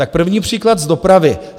Tak první příklad z dopravy.